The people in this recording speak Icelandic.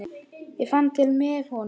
Ég fann til með honum.